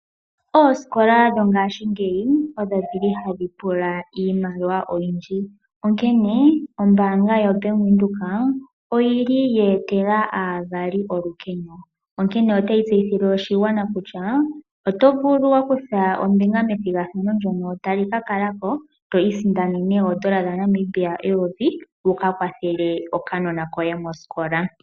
Oosikola dhongaashingeyi odho dhili hadhi pula iimaliwa oyindji. Onkene ombaanga yo Bank Windhoek oyili ye etela aavali olukeno. Onkene otayi tseyithile oshigwana kutya oto vulu okukutha ombinga methigathano ndyono tali ka kala ko to isindanene oodola dhaNamibia eyovi wuka kwathele okanona koye mosikola.